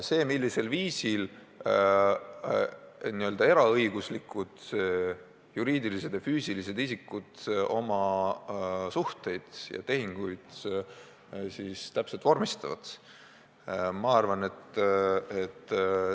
See, millisel viisil eraõiguslikud juriidilised ja füüsilised isikud oma suhteid ja tehinguid täpselt vormistavad, on nende asi.